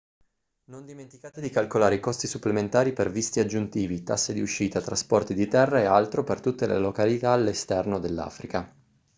non dimenticate di calcolare i costi supplementari per visti aggiuntivi tasse di uscita trasporti di terra e altro per tutte le località all'esterno dell'africa